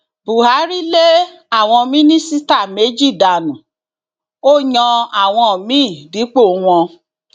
buhari lé àwọn mínísítà méjì dànù ó yan àwọn míín dípò wọn